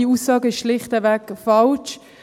Diese Aussage ist also schlichtweg falsch.